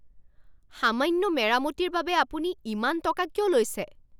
সামান্য মেৰামতিৰ বাবে আপুনি ইমান টকা কিয় লৈছে?